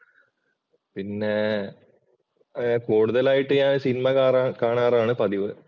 പിന്നെ കൂടുതലായിട്ട് ഞാൻ സിനിമ കാണാറാണ് പതിവ്.